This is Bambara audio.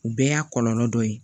U bɛɛ y'a kɔlɔlɔ dɔ ye